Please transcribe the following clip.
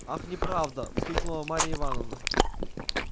ах неправда вскрикнула марья ивановна